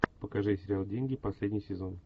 покажи сериал деньги последний сезон